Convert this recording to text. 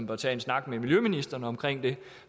bør tage en snak med miljøministeren om det